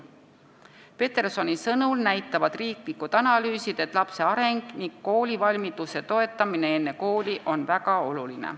Petersoni sõnul näitavad riigi analüüsid, et lapse areng ning koolivalmiduse toetamine enne kooli on väga oluline.